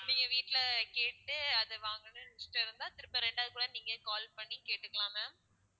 நீங்க வீட்டுல கேட்டு அதை வாங்கணும்ன்னு இஷ்டம் இருந்தா திருப்ப இரண்டாவது போல நீங்களே call பண்ணி கேட்டுக்கலாம் ma'am